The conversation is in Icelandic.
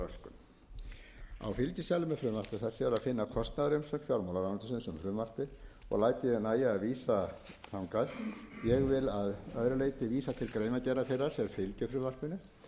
finna kostnaðarumsögn fjármálaráðuneytisins um frumvarpið og læt ég nægja að vísa þangað ég vil að öðru leyti vísa til greinargerðar þeirrar sem fylgir frumvarpinu